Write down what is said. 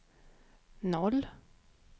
noll